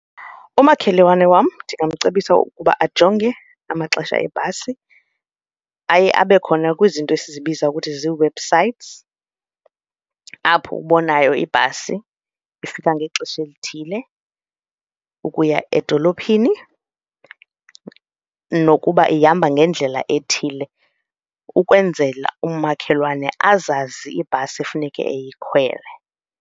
Umakhelwane wam ndingamcebisa ukuba ajonge amaxesha ebhasi. Aye abe khona kwizinto esizibiza ukuthi zii-websites apho ubonayo ibhasi ifika ngexesha elithile ukuya edolophini nokuba ihamba ngendlela ethile ukwenzela umakhelwane azazi ibhasi ekufuneke eyikhwele.